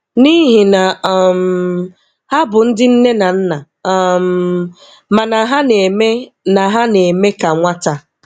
N'ihi na um ha bụ ndị nne na nna, um ma na ha na-eme na ha na-eme ka nwata.